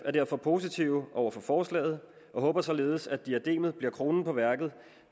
er derfor positive over for forslaget og håber således at diadem’et bliver kronen på værket